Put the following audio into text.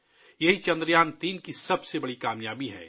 یہ چندریان 3 کی سب سے بڑی کامیابی ہے